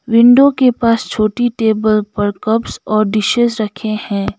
Window के पास छोटी टेबल पर कप्स और डिशेज रखें हैं।